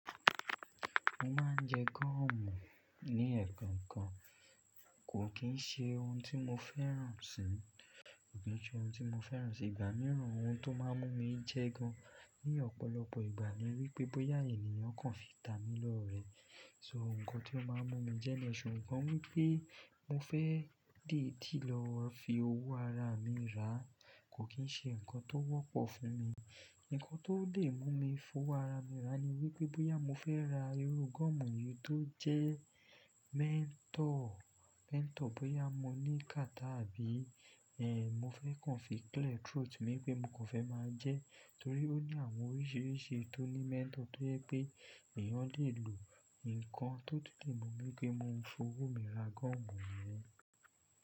Mo máa ń jẹ gọ́ọ̀mù ní ẹ̀ẹ̀kan kan, kò kì í ṣe ohun tí mo fẹ́ràn sì, kò kì í ṣe ohun tí mo fẹ́ràn sì gbà mí rọ ohun tó máa ń mú mi jẹ gan ní ọ̀pọ̀lọpọ̀ ìgbà ni wípé bóyá ènìyàn kan fi ta mi lọ́rẹ̀ẹ́. So nǹkan tí ó máa ń mú mi jẹ́ any iṣù, ikan ni pé mo fẹ́ dìídì lọ fi owó ara mi rà, kò kì í ṣe nǹkan tó wọ́pọ̀ fún mi. Ǹǹkan tó lè mú mi fowó ara mi rà ni wípé bóyá mo fẹ́ ra irú gọ́ọ̀mù yìí tó jẹ́ mentor, mentor bóyá mo ní kata àbí ẹ́ń, mo fẹ́ kàn fi clear throat mi pé mo kàn fẹ́ máa jẹ́ torí ó ní àwọn oríṣìíríṣìí tó ní mentor tó jẹ pé ènìyàn lè lò. Ǹǹkan tó ti lè mú mi pé ki ń maa fowó mi ra gọ́ọ̀mù ni yẹn.